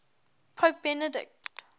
pope benedict